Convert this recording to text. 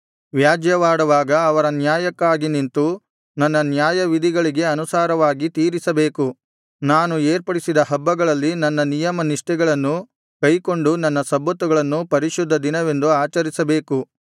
ವ್ಯಾಜ್ಯವಾಡುವಾಗ ಅವರ ನ್ಯಾಯಕ್ಕಾಗಿ ನಿಂತು ನನ್ನ ನ್ಯಾಯವಿಧಿಗಳಿಗೆ ಅನುಸಾರವಾಗಿ ತೀರಿಸಬೇಕು ನಾನು ಏರ್ಪಡಿಸಿದ ಹಬ್ಬಗಳಲ್ಲಿ ನನ್ನ ನಿಯಮನಿಷ್ಠೆಗಳನ್ನು ಕೈಕೊಂಡು ನನ್ನ ಸಬ್ಬತ್ತುಗಳನ್ನು ಪರಿಶುದ್ಧ ದಿನವೆಂದು ಆಚರಿಸಬೇಕು